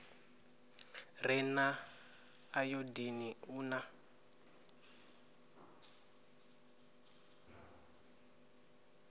re na ayodini u na